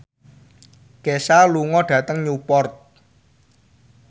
Kesha lunga dhateng Newport